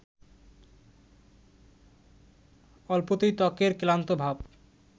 অল্পতেই ত্বকের ক্লান্ত ভাব